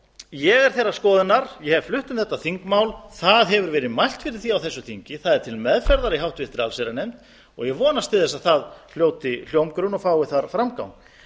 ég er þeirrar skoðunar ég hef flutt um þetta þingmál það hefur verið mælt fyrir því á þessu þingi það er til meðferðar í allsherjarnefnd og ég vonast til þess að það hljóti hljómgrunn og fái þar framgang